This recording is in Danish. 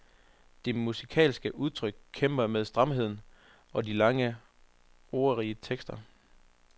Det musikalske udtryk kæmper med stramheden og de lange, ordrige tekster.